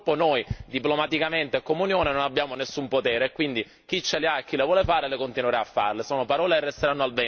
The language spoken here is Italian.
Purtroppo noi diplomaticamente, come Unione, non abbiamo nessun potere e quindi chi ce le ha e chi le vuole fare continuerà a farle, sono parole e resteranno al vento, purtroppo.